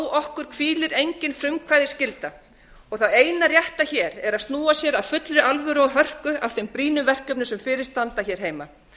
á okkur hvílir engin frumkvæðisskylda og það eina rétta er að snúa sér af fullri alvöru og hörku að þeim brýnu verkefnum sem fyrir standa heima